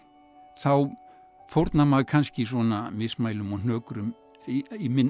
þá fórnar maður kannski svona mismælum og hnökrum